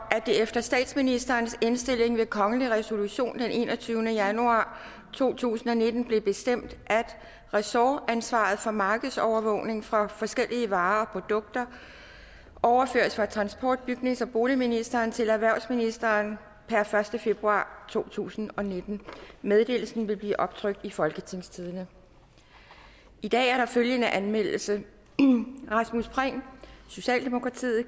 at det efter statsministerens indstilling ved kongelig resolution den enogtyvende januar to tusind og nitten blev bestemt at ressortansvaret for markedsovervågning for forskellige varer og produkter overføres fra transport bygnings og boligministeren til erhvervsministeren per første februar to tusind og nitten meddelelsen vil blive optrykt i folketingstidende i dag er der følgende anmeldelse rasmus prehn